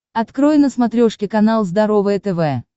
открой на смотрешке канал здоровое тв